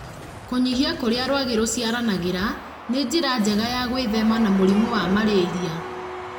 Kũnyihia kũrĩa rwagĩ rũciaranagĩra nĩ njĩra njega ya gwĩthema na mũrimũ wa malaria.